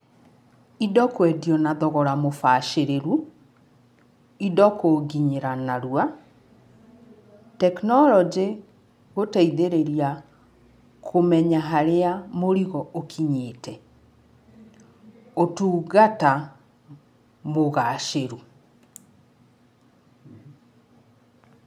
Indo kwendio na thogora mũbacĩrĩru, indo kũnginyĩra narua, tekinoronjĩ gũteithĩrĩria kũmenya harĩa mũrigo ũkinyĩte, ũtungata mũgacĩru.